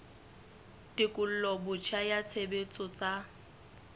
tekolo botjha ya tshebetso tsa